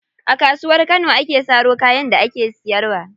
A Kasuwar Kano ake saro kayan da ake siyarwa.